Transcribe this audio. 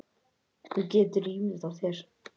Þú getur ímyndað þér.